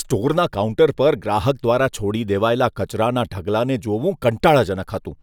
સ્ટોરના counter પર ગ્રાહક દ્વારા છોડી દેવાયેલા કચરાના ઢગલાને જોવું કંટાળાજનક હતું.